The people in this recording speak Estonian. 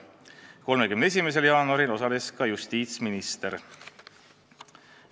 31. jaanuaril osales ka justiitsminister.